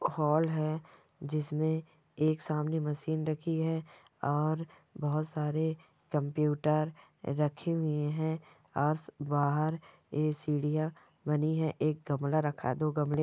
हाल है जिसमें एक सामने मशीन रखी है और बहुत सारे कम्प्यूटर रखे हुए हैं और स बाहर ए सीढ़ियां बनी है एक गमला रखा है दो गमले--